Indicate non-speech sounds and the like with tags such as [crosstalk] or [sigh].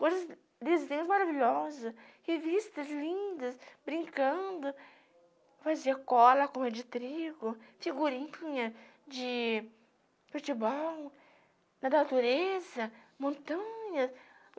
coisas, desenhos maravilhosos, revistas lindas, brincando, fazer cola, [unintelligible] de trigo, figurininha de futebol, na natureza, montanhas.